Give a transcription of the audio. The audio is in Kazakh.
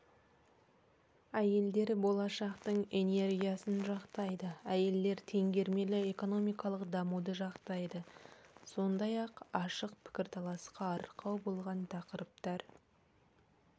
әйелдер болашақтың энергиясын жақтайды әйелдер теңгермелі экономикалық дамуды жақтайды сондай-ақ ашық пікірталасқа арқау болған тақырыптар